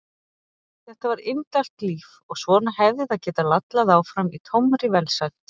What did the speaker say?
Þetta var indælt líf og svona hefði það getað lallað áfram í tómri velsæld.